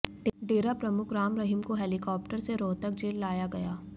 डेरा प्रमुख राम रहीम को हेलिकॉप्टर से रोहतक जेल लाया गया